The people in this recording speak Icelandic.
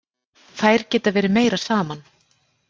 Þær geta verið meira saman.